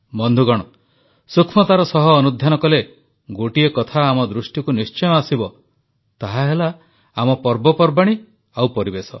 ବନ୍ଧୁଗଣ ସୂକ୍ଷ୍ମତାର ସହ ଅନୁଧ୍ୟାନ କଲେ ଗୋଟିଏ କଥା ଆମ ଦୃଷ୍ଟିକୁ ନିଶ୍ଚୟ ଆସିବ ତାହାହେଲା ଆମ ପର୍ବପର୍ବାଣୀ ଓ ପରିବେଶ